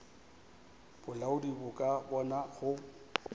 bolaodi bo ka bona go